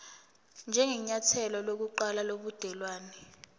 njengenyathelo lokuqala lobudelwane